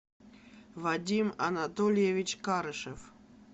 вадим анатольевич карышев